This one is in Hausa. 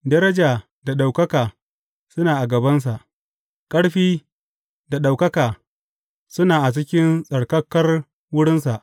Daraja da ɗaukaka suna a gabansa; ƙarfi da ɗaukaka suna a cikin tsarkakar wurinsa.